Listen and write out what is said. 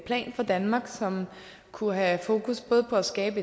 plan for danmark som kunne have fokus på at skabe